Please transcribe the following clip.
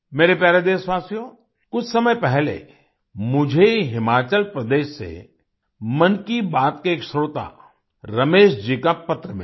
मेरे प्यारे देशवासियो कुछ समय पहले मुझे हिमाचल प्रदेश से मन की बात के एक श्रोता रमेश जी का पत्र मिला